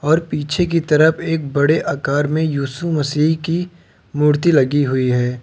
और पीछे की तरफ एक बड़े आकार में यीशु मसीह की मूर्ति लगी हुई है।